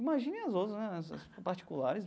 Imagine as outras né, as particulares.